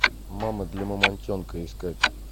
мама для мамонтенка искать